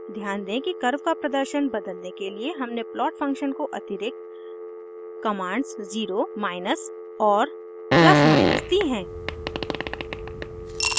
ध्यान दें कि कर्व का प्रदर्शन बदलने के लिए हमने प्लॉट फंक्शन को अतिरिक्त कमांड्स 0 ज़ीरो माइनस और + दी हैं